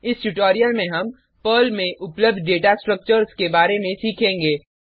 इस ट्यूटोरियल में हम पर्ल में उपलब्ध डेटा स्ट्रक्चर्स के बारे में सीखेंगे